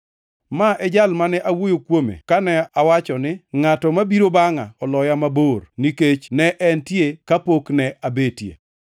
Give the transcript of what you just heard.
Ma e jal mane awuoyo kuome kane awacho ni, ‘Ngʼato mabiro bangʼa oloya mabor, nikech ne entie kapok ne abetie.’